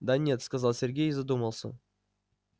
да нет сказал сергей и задумался